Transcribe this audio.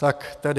Tak tedy.